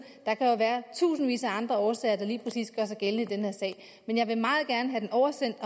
der kan jo være tusindvis af andre årsager der lige præcis gør sig gældende i den her sag men jeg vil